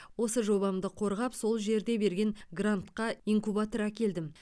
осы жобамды қорғап сол жерде берген грантқа инкубатор әкелдім